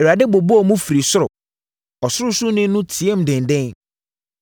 Awurade bobɔɔ mu firi soro; Ɔsorosoroni no teaam denden.